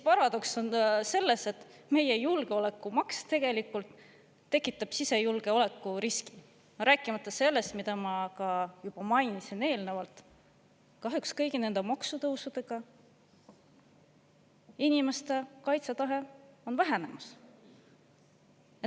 Paradoks on selles, et julgeolekumaks tegelikult tekitab sisejulgeoleku riski, rääkimata sellest, mida ma juba eelnevalt mainisin, et kahjuks kõigi nende maksutõusude tõttu inimeste kaitsetahe on vähenemas.